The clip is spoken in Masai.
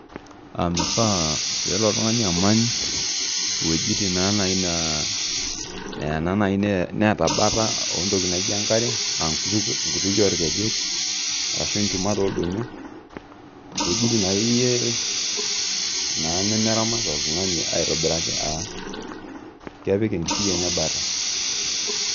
aa mifaa pee elo oltungani amany iwejitin naijio netii enkare, aa inkutikie oo ilkejek ashu ichumat oo ilodonyio, iwejitin akeyie nemaramat oltungani, aitobiraki aa kepik enkishui enye bata.